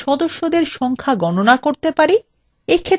এক্ষেত্রে প্রশ্নটি হবে :